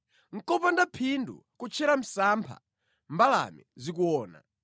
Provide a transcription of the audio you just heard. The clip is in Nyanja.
Nʼkopanda phindu kutchera msampha mbalame zikuona!